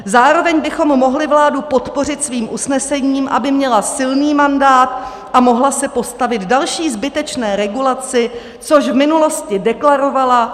Zároveň bychom mohli vládu podpořit svým usnesením, aby měla silný mandát a mohla se postavit další zbytečné regulaci, což v minulosti deklarovala.